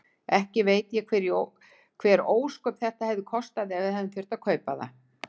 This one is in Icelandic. Ekki veit ég hver ósköp þetta hefði kostað ef við hefðum þurft að kaupa það.